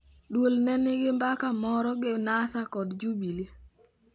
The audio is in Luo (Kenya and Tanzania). Duol ne nigi mbaka moro gi NASA kod Jubilee.